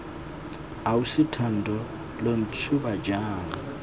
ausi thando lo ntshuba jaaka